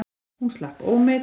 Hún slapp ómeidd.